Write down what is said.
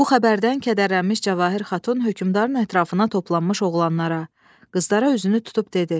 Bu xəbərdən kədərlənmiş Cəvahir Xatun hökmdarın ətrafına toplanmış oğlanlara, qızlara üzünü tutub dedi: